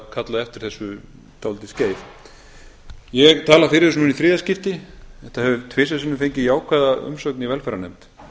kallað eftir þessu um nokkurt skeið ég tala fyrir þessu núna í þriðja skipti þetta hefur tvisvar sinnum fengið jákvæða umsögn í velferðarnefnd